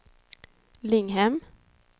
Linghem